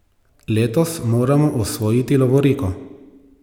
Letos moramo osvojiti lovoriko!